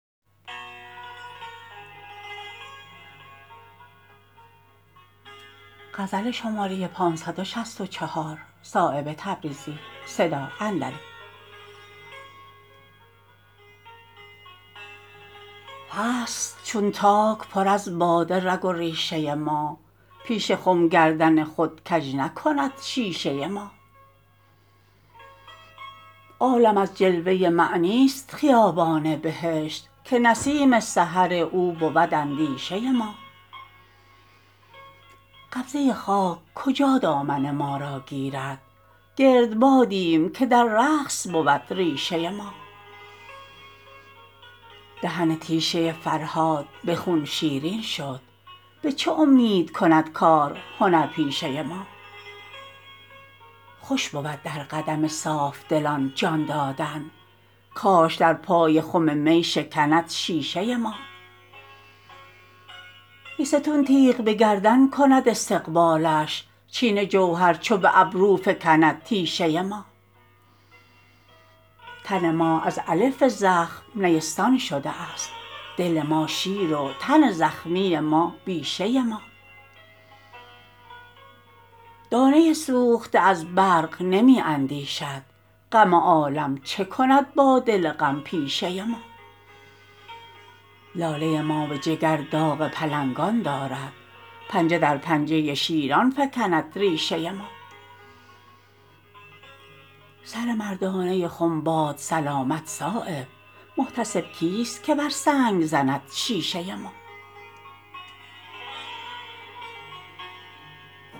هست چون تاک پر از باده رگ و ریشه ما پیش خم گردن خود کج نکند شیشه ما عالم از جلوه معنی است خیابان بهشت که نسیم سحر او بود اندیشه ما قبضه خاک کجا دامن ما را گیرد گردبادیم که در رقص بود ریشه ما دهن تیشه فرهاد به خون شیرین شد به چه امید کند کار هنرپیشه ما خوش بود در قدم صافدلان جان دادن کاش در پای خم می شکند شیشه ما بیستون تیغ به گردن کند استقبالش چین جوهر چو به ابرو فکند تیشه ما تن ما از الف زخم نیستان شده است دل ما شیر و تن زخمی ما بیشه ما دانه سوخته از برق نمی اندیشد غم عالم چه کند با دل غم پیشه ما لاله ما به جگر داغ پلنگان دارد پنجه در پنجه شیران فکند ریشه ما سر مردانه خم باد سلامت صایب محتسب کیست که بر سنگ زند شیشه ما